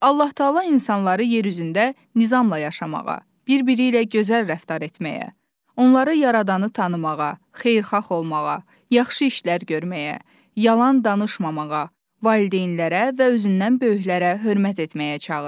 Allah Təala insanları yer üzündə nizamla yaşamağa, bir-biri ilə gözəl rəftar etməyə, onları yaradanı tanımağa, xeyirxah olmağa, yaxşı işlər görməyə, yalan danışmamağa, valideynlərə və özündən böyüklərə hörmət etməyə çağırır.